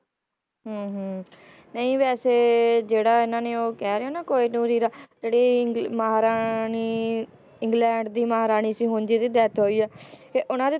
ਹਮ ਹਮ ਨਹੀਂ ਵੈਸੇ ਜਿਹੜਾ ਇਹਨਾਂ ਨੇ ਉਹ ਕਹਿ ਰਹੇ ਹੋ ਨਾ ਕੋਹੀਨੂਰ ਹੀਰਾ, ਜਿਹੜਾ ਇੰਗ~ ਮਹਾਰਾਣੀ ਇੰਗਲੈਂਡ ਦੀ ਮਹਾਰਾਣੀ ਸੀ ਹੁਣ ਜਿਹਦੀ death ਹੋਈ ਹੈ ਤੇ ਉਹਨਾਂ ਦੇ।